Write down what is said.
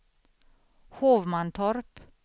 Hovmantorp